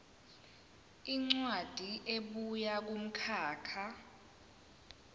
incwadi ebuya kumkhakha